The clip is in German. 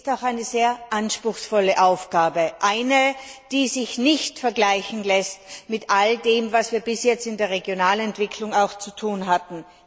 Sie ist auch eine sehr anspruchsvolle Aufgabe, die sich nicht vergleichen lässt mit all dem, was wir bis jetzt in der Regionalentwicklung zu tun hatten.